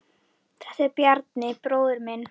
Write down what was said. Þetta er Bjarni, bróðir minn.